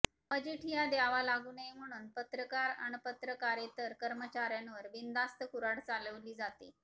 मजिठिया द्यावा लागू नये म्हणून पत्रकार आणि पत्रकारेतर कर्मचार्यांवर बिनधास्त कुर्हाड चालविली जातेय